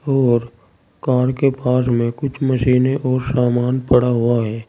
और कार के पास में कुछ मशीनें और सामान पड़ा हुआ है।